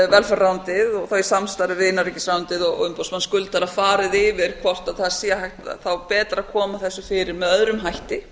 velferðarráðuneytið í samstarfi við innanríkisráðuneytið og umboðsmann skuldara farið yfir hvort það sé betra að koma þessu fyrir með öðrum hætti